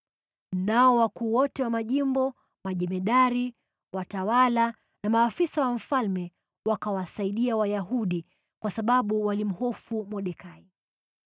Nao wakuu wote wa majimbo, majemadari, watawala na maafisa wa mfalme wakawasaidia Wayahudi, kwa sababu walimhofu Mordekai.